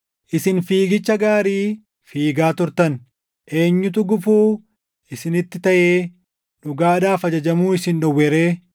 Isin fiigicha gaarii fiigaa turtan. Eenyutu gufuu isinitti taʼee dhugaadhaaf ajajamuu isin dhowwe ree?